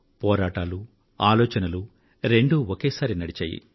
పోరాటాలు ఆలోచనలూ రెండూ ఒకేసారి నడిచాయి